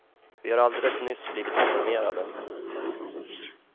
Vi har alldeles nyss blivit informerade.